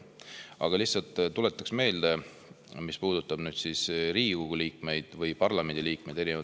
Aga lihtsalt tuletan meelde, et parlamendi liikmete puhul on see süsteem eri riikides erinev.